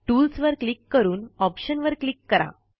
tools वर click करून option वर क्लिक करा